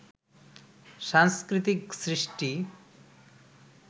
সাংস্কৃতিক সৃষ্টি